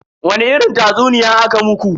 Wani irin tatsuniya aka muku?